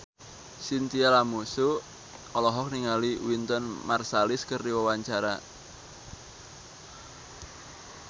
Chintya Lamusu olohok ningali Wynton Marsalis keur diwawancara